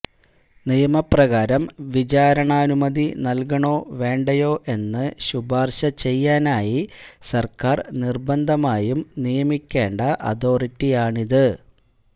നിയമപ്രകാരം വിചാരണാനുമതി നല്കണോ വേണ്ടയോ എന്ന് ശുപാര്ശ ചെയ്യാനായി സര്ക്കാര് നിര്ബന്ധമായും നിയമിക്കേണ്ട അതോറിറ്റിയാണത്